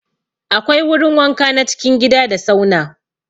Akwai wurin wanka na cikin gida da sauna.